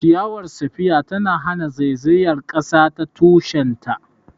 Ciyawar spear tana hana zaizayar kasa ta tushen ta.